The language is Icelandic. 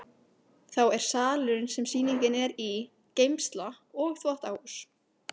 Þá er salurinn sem sýningin er í, geymsla og þvottahús.